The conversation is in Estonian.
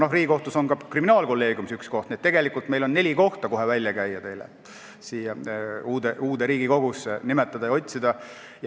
Samas, Riigikohtus on ka kriminaalkolleegiumis üks koht, nii et tegelikult on meil teile neli kohta kohe välja käia, keda siin uues Riigikogus nimetada.